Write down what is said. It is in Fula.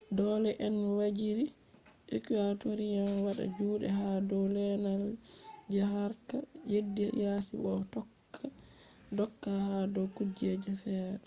dole on waziri ecuadorian wada jude ha dow lenal je harka yeddi yasi bo o tokka doka ha dow kujeji feere